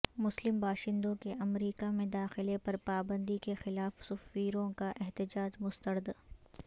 مسلم باشندوں کے امریکا میں داخلے پرپابندی کے خلاف سفیروں کا احتجاج مسترد